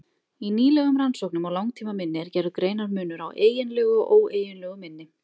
Í nýlegum rannsóknum á langtímaminni er gerður greinarmunur á eiginlegu og óeiginlegu minni.